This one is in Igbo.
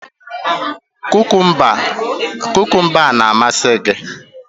Kukumba a na-amasị gị?